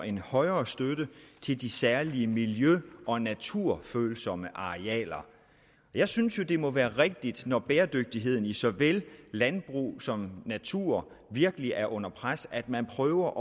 en højere støtte til de særlig miljø og naturfølsomme arealer jeg synes jo det må være rigtigt når bæredygtigheden i såvel landbrug som natur virkelig er under pres at man prøver